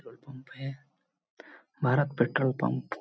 petrol pump है Bharat petrol pump